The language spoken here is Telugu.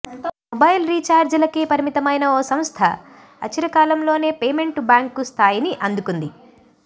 మొబైల్ రీఛార్జీలకే పరిమితమైన ఓ సంస్థ అచిరకాలంలోనే పేమెంట్ బ్యాంకు స్థాయిని అందుకుంది